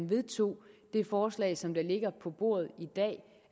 vedtog det forslag som der ligger på bordet i dag